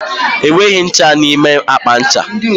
Enweghị ncha n'ime akpa ncha.